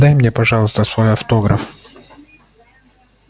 дай мне пожалуйста свой автограф